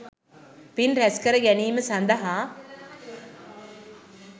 පින් රැස්කර ගැනීම සඳහා